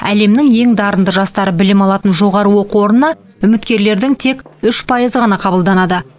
әлемнің ең дарынды жастары білім алатын жоғары оқу орнына үміткерлердің тек үш пайызы ғана қабылданады